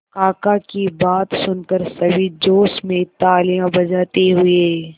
काका की बात सुनकर सभी जोश में तालियां बजाते हुए